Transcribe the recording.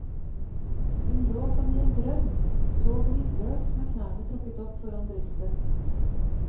Hun lå som i en drøm, sov lydløst med knærne trukket opp foran brystet.